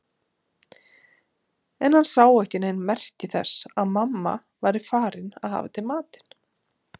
En hann sá ekki nein merki þess að mamma væri farin að hafa til matinn.